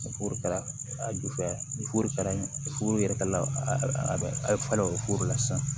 Ni foro kɛra a ju fɛ ni foro kɛra furu yɛrɛ la a ye falen o foro la sisan